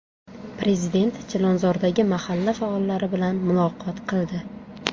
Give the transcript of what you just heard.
Prezident Chilonzordagi mahalla faollari bilan muloqot qildi.